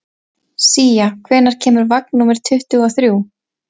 Sía, hvenær kemur vagn númer tuttugu og þrjú?